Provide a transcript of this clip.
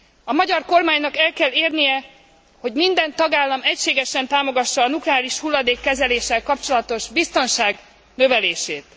A magyar kormánynak el kell érnie, hogy minden tagállam egységesen támogassa a nukleáris hulladékkezeléssel kapcsolatos biztonság növelését.